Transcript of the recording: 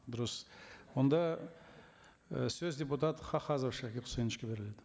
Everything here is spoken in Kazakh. дұрыс онда і сөз депутат хахазов шакир хусаиновичке беріледі